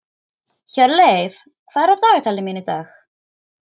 Hjörleif, hvað er á dagatalinu mínu í dag?